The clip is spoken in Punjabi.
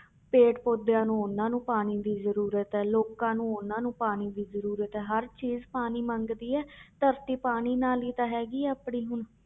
ਪੇੜ ਪੌਦਿਆਂ ਨੂੰ ਉਹਨਾਂ ਨੂੰ ਪਾਣੀ ਦੀ ਜ਼ਰੂਰਤ ਹੈ ਲੋਕਾਂ ਨੂੰ ਉਹਨਾਂ ਨੂੰ ਪਾਣੀ ਦੀ ਜ਼ਰੂਰਤ ਹੈ ਹਰ ਚੀਜ਼ ਪਾਣੀ ਮੰਗਦੀ ਹੈ, ਧਰਤੀ ਪਾਣੀ ਨਾਲ ਹੀ ਤਾਂ ਹੈਗੀ ਹੈ ਆਪਣੀ ਹੁਣ